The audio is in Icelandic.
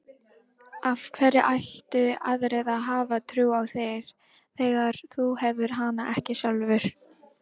Af hverju ættu aðrir að hafa trú á þér þegar þú hefur hana ekki sjálfur?